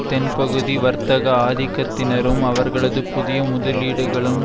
தென்பகுதி வர்த்தக ஆதிக்கத்தினரும் அவர்களது புதிய முதலீடுகளும்